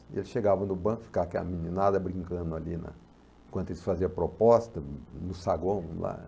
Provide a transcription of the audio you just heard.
E eles chegavam no banco, ficava aquela meninada brincando ali, na enquanto eles faziam proposta, no no saguão lá.